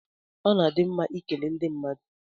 Ọ na-adị mma ịkele ndị mmadụ